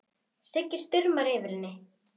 Sigga stumrar yfir henni.